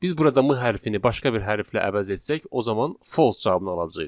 Biz burada M hərfini başqa bir hərflə əvəz etsək, o zaman false cavabını alacağıq.